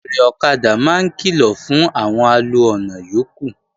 Fèèrè ọ̀kadà máa ń kìlọ̀ fún àwọn alo ọ̀nà yókù